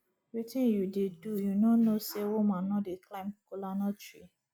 wetin you dey do you no know say woman no dey climb kola nut tree